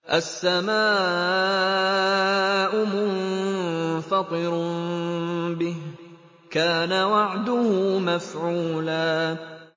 السَّمَاءُ مُنفَطِرٌ بِهِ ۚ كَانَ وَعْدُهُ مَفْعُولًا